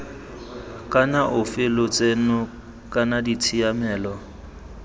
kana ofe lotseno kana ditshiamelo